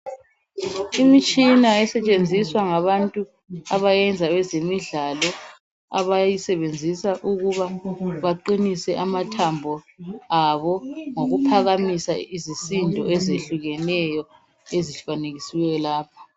Imitshina esetshenziswa ngabantu abayenza ezemidlalo abayisebenzisa ukuba baqinise amathambo abo ngokuphamamisa izisindo ezehlukeneyo ezifanekisiweyo lapha.